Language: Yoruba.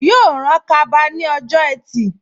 Yóò rán kaba ní ọjọ́ ẹtì